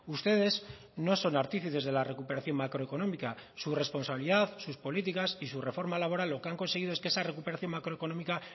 ustedes no son artífices de la recuperación macroeconómica su responsabilidad sus políticas y su reforma laboral lo que han conseguido es que esa recuperación macroeconómica